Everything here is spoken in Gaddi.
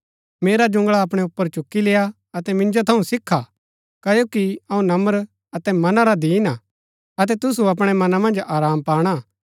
मेरा जुंगळा अपणै ऊपर चुकी लेय्आ अतै मिन्जो थऊँ सिखा क्ओकि अऊँ नम्र अतै मना रा दीन हा अतै तुसु अपणै मना मन्ज आराम पाणा